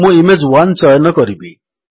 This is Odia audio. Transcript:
ମୁଁ ଇମେଜ୍1 ଚୟନ କରିବି